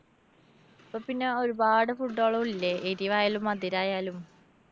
ഇപ്പോ പിന്നെ ഒരുപാട് food കളും ഇല്ലെ? എരിവായാലും മധുരായാലും.